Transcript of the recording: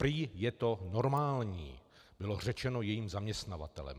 Prý je to normální, bylo řečeno jejím zaměstnavatelem.